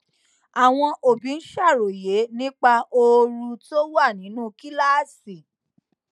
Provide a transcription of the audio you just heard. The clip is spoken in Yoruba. àwọn òbí ń ṣàròyé nípa ooru tó wà nínú kíláàsì